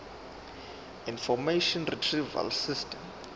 information retrieval system